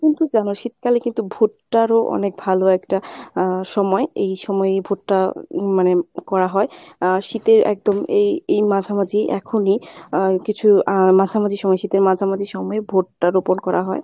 তুমি তো জানো শীতকালে কিন্তু ভুট্টারও অনেক ভালো একটা আহ সময় এই সময়ে ভুট্টা মানে করা হয় আহ শীতে একদম এই এই মাঝামাঝি এখনই আহ কিছু আহ মাঝামাঝি সময় শীতের মাঝমাঝি সময় ভুট্টা রোপন করা হয়।